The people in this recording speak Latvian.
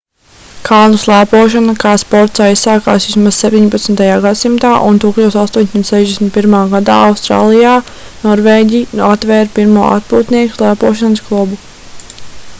kalnu slēpošana kā sports aizsākās vismaz 17. gadsimtā un 1861. gadā austrālijā norvēģi atvēra pirmo atpūtnieku slēpošanas klubu